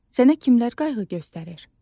Sənə kimlər qayğı göstərir?